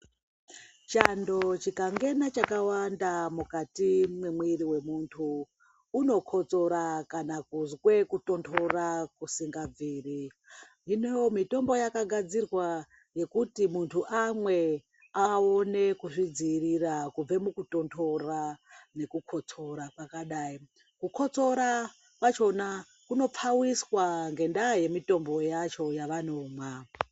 Chando chikangena chakawanda mukati mwemwiri wemunhu unokotsora kana kuzwe kutonhora kuzingabviri, hino mitombo yakagadzirwa yekuti muntu amwe awone kuzvidziirira kubve mukutonhora nekukotsora kwakadai, kukotsora kwacho kunopfawiswa ngenda yemitombo yacho yavanomwa.